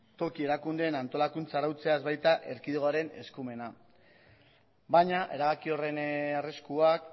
toki erakundeen antolakuntza arautzea ez baita erkidegoaren eskumena baina erabaki horren arriskuak